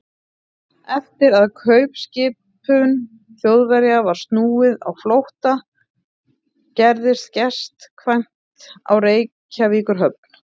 Eftir að kaupskipum Þjóðverja var snúið á flótta, gerðist gestkvæmt á Reykjavíkurhöfn.